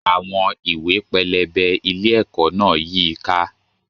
Àwọn ìwé pẹlẹbẹ ilé-ẹ̀kọ́ náà yí i ká.